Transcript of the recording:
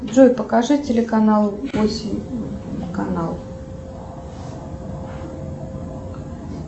джой покажи телеканал осень канал